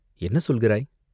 "என்ன சொல்கிறாய்?